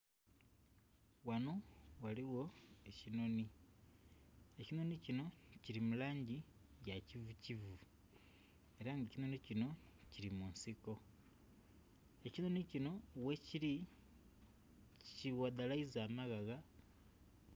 Wano ghaligho ekinoni, ekinoni kino kiri mu langi ya kivukivu era nga ekinoni kino kiri mu nsiko, ekinoni kino wekiri kiwadhalaiza amaghagha.